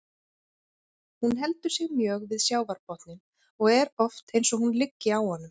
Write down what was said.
Hún heldur sig mjög við sjávarbotninn og er oft eins og hún liggi á honum.